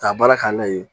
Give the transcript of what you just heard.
K'a baara k'a la yen